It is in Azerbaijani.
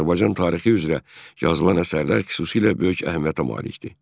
Azərbaycan tarixi üzrə yazılan əsərlər xüsusilə böyük əhəmiyyətə malikdir.